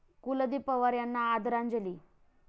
कुलदीप पवार यांना आदरांजली